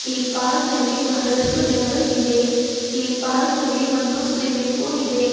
ಈ ಪಾರ್ಕ್ ನಲ್ಲಿ ಬಹಳಷ್ಟು ಜನರು ಇವೆ ಈ ಪಾರ್ಕ್ ನಲ್ಲಿ ಒಂದು ಸ್ವಿಮ್ಮಿಂಗ್ ಪೂಲ್ ಇದೆ.